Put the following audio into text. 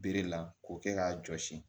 Bere la k'o kɛ k'a jɔsi